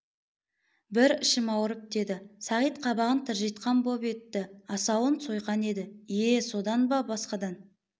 бір ішім ауырып деді сағит қабағын тыржитқан боп етті асауын сойқан еді ие содан ба басқадан